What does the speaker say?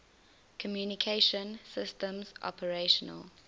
communication systems operational